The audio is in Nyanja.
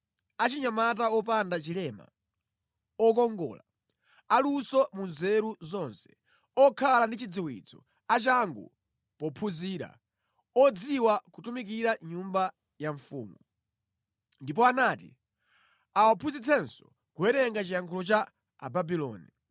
achinyamata wopanda chilema, okongola, aluso mu nzeru zonse, okhala ndi chidziwitso, achangu pophunzira, odziwa kutumikira mʼnyumba ya mfumu. Ndipo anati awaphunzitsenso kuwerenga chiyankhulo cha Ababuloni.